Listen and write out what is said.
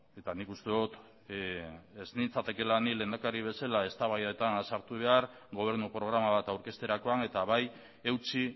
eta nik uste dut ez nintzatekeela ni lehendakari bezala eztabaidetan sartu behar gobernu programa bat aurkezterakoan eta bai eutsi